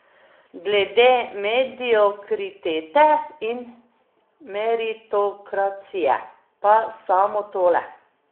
Glede mediokritete in meritokracije pa samo tole.